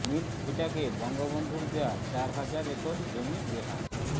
milk ভিটাকে বঙ্গবন্ধুর দেয়া চার হাজার একর জমি বেহাত